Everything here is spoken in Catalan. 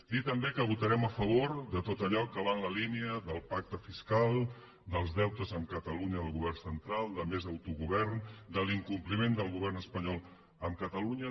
dir també que votarem a favor de tot allò que va en la línia del pacte fiscal dels deutes amb catalunya del govern central de més autogovern de l’incompliment del govern espanyol amb catalunya